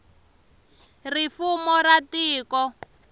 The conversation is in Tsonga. ri fumo ra tiko